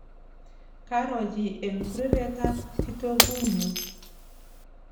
karo chi eng' kureretab kitoku nyu